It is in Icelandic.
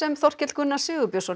Þorkell Gunnar Sigurbjörnsson